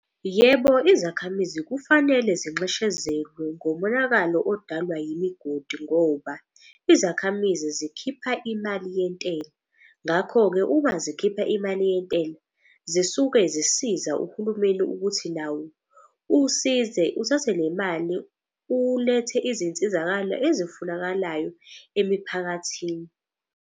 Yebo, izakhamizi kufanele zinxeshezelwe ngomonakalo odalwa yimigodi ngoba izakhamizi zikhipha imali yentela. Ngakho-ke uma zikhipha imali yentela, zisuke zisiza uhulumeni ukuthi nawo usize uthathe le mali ulethe izinsizakalo ezifunakalayo emiphakathini.